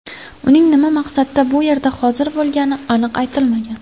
Uning nima maqsadda bu yerda hozir bo‘lgani aniq aytilmagan.